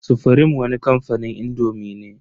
Sufrim wani kamfanin indomi ne.